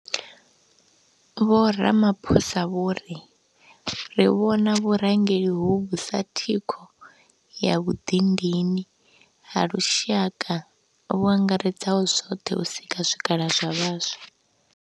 Vho Ramaphosa vho ri, Ri vhona vhurangeli hovhu sa thikho ya vhuḓindini ha lushaka vhu angaredzaho zwoṱhe u sika zwikhala zwa vhaswa.